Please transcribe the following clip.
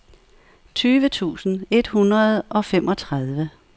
tyve tusind et hundrede og femogtredive